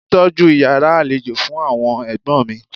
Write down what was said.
Tọ́jú Ìyàrá àlejò fún àwọn ẹ̀gbọ́n mi.